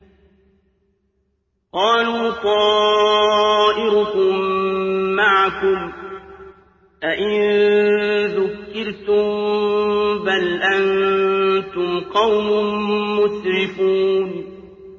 قَالُوا طَائِرُكُم مَّعَكُمْ ۚ أَئِن ذُكِّرْتُم ۚ بَلْ أَنتُمْ قَوْمٌ مُّسْرِفُونَ